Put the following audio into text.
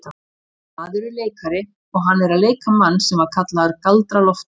Þessi maður er leikari og hann er að leika mann sem var kallaður Galdra-Loftur.